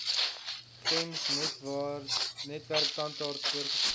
gems netwerktandarts voorgeskryf